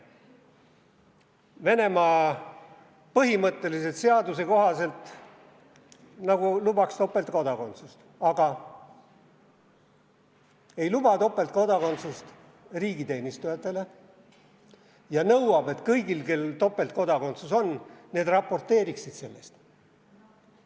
Venemaa põhimõtteliselt seaduse kohaselt nagu lubaks topeltkodakondsust, aga ei luba topeltkodakondsust riigiteenistujatele ja nõuab, et kõik, kel on topeltkodakondsus, raporteeriksid sellest.